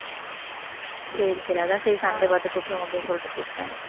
சரி சரி அதான் சரி சண்டே பார்த்து கூப்பிடுவோம் அப்படின்னு சொல்லிட்டு கூப்பிட்டேன்.